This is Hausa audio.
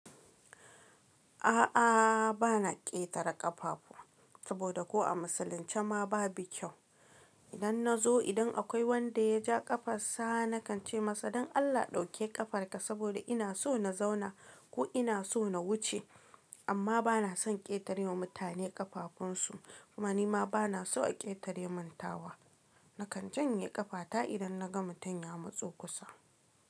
A'a, ba na ƙetare ƙafa ba saboda ko a musulunce ma babu kyau. Idan na zo, idan akwai wanda ya ja ƙafa sa, na kan ce masa don Allah ɗauke ƙafarka saboda ina so na zauna ko ina so na wuce, amma ba na son ƙetare wa mutane ƙafafunsu. Kuma ni ma ba na so a ƙetare mun tawa. Na kan janye ƙafata idan na ga mutum ya matso kusa.